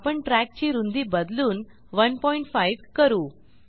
आपणtrack ची रूंदी बदलून 15 करू